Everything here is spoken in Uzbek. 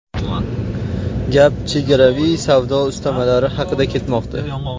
Gap chegaraviy savdo ustamalari haqida ketmoqda.